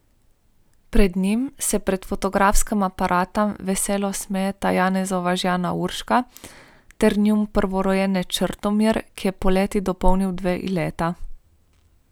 Pred njim se pred fotografskim aparatom veselo smejita Janezova žena Urška ter njun prvorojenec Črtomir, ki je poleti dopolnil dve leti.